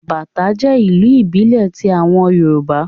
Bàtá jẹ́ ìlù ìbílẹ̀ ti àwọn Yorùbá